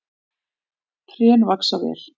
Trén vaxa vel.